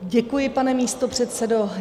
Děkuji, pane místopředsedo.